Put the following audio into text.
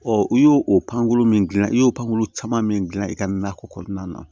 u y'o pankolon min gilan i y'o pankurun caman min gilan i ka nakɔ kɔnɔna na